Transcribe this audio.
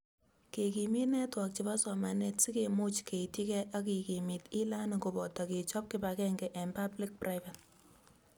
Kekimit networks chebo somanet si kemuch keityigei ak kekimit e-learning koboto kechob kibagenge eng public-private